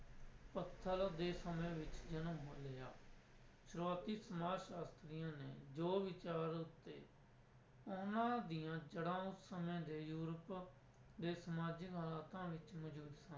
ਪੱਥਲ ਦੇ ਸਮੇਂ ਵਿੱਚ ਜਨਮ ਲਿਆ, ਸ਼ੁਰੁਆਤੀ ਸਮਾਜ ਸ਼ਾਸਤਰੀਆਂ ਨੇ ਜੋ ਵਿਚਾਰ ਉੱਤੇ ਉਹਨਾਂ ਦੀਆਂ ਜੜਾਂ ਉਸ ਸਮੇਂ ਦੇ ਯੂਰਪ ਦੇ ਸਮਾਜਿਕ ਹਾਲਾਤਾਂ ਵਿੱਚ ਮੌਜੂਦ